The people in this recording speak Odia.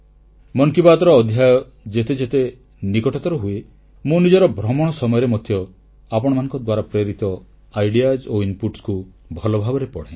ମନ କି ବାତ୍ର ଅଧ୍ୟାୟ ଯେତେ ଯେତେ ନିକଟତର ହୁଏ ମୁଁ ନିଜର ଭ୍ରମଣ ସମୟରେ ମଧ୍ୟ ଆପଣମାନଙ୍କ ଦ୍ୱାରା ପ୍ରେରିତ ପରିକଳ୍ପନା ଓ ପ୍ରସ୍ତାବଗୁଡିକୁ ଭଲଭାବରେ ପଢ଼େ